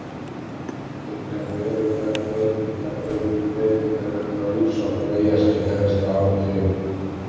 Engar verulegar breytinga urðu á lífsháttum eyjarskeggja næstu áratugina.